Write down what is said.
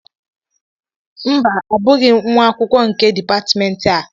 mba, Abụghị m nwa akwụkwọ nke Dipatmentị a